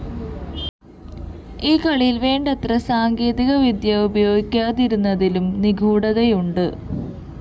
ഈ കളിയില്‍ വേണ്ടത്ര സാങ്കേതികവിദ്യ ഉപയോഗിക്കാതിരുന്നതിലും നിഗൂഡതയുണ്ട്